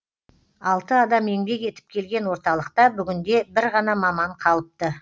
алты адам еңбек етіп келген орталықта бүгінде бір ғана маман қалыпты